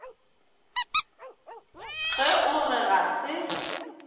ge o re ga se